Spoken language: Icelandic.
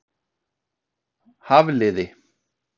Hafliði